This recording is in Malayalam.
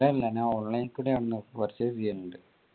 ഞാൻ online കൂടി ആണല്ലോ purchase ചെയ്യുന്നുണ്ട്